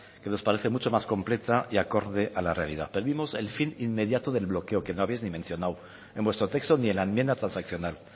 que nos parece mucho más completa y acorde a la realidad pedimos el fin inmediato del bloqueo que no habéis ni mencionado en vuestro texto ni en la enmienda transaccional